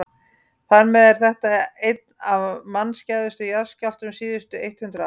þar með er þetta einn af mannskæðustu jarðskjálftum síðustu eitt hundruð ára